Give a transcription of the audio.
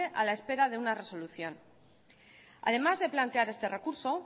a la espera de una resolución además de plantear este recurso